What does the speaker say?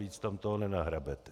Víc tam toho nenahrabete.